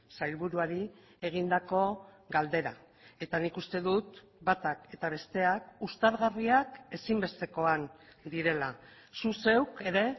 sailburuari egindako galdera eta nik uste dut batak eta besteak uztargarriak ezinbestekoan direla zu zeuk ere